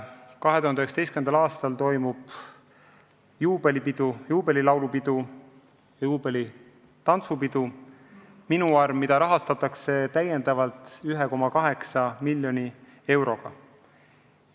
2019. aastal toimub juubelilaulupidu ja -tantsupidu "Minu arm", mida rahastatakse täiendavalt 1,8 miljoni euroga.